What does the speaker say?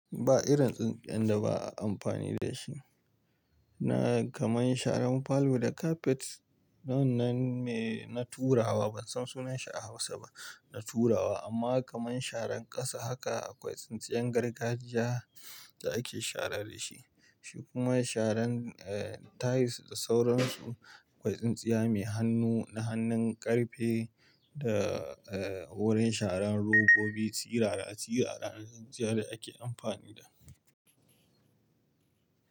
Ba irin tsintsiyan da ba a amfani da shi. Na kaman sharan palour da kafet, wannan me na tura wa ban san sunanshi a Hausa ba, na tura wa amma kaman sharan ƙasa haka, akwai tsintsiyan gargajiya da ake shara da shi. Shi kuma sharan eh tiles da sauransu, akwai tsintsiya mai hannu na hannun ƙarfe da eh wurin sharan robobi, tsirara-tsirara na tsintsiya da ake amfani da.